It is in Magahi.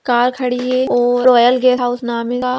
कार खड़ी है और रॉयल गेस्ट हाउस नाम का --